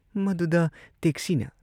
ꯃꯗꯨꯗ ꯇꯦꯛꯁꯤꯅ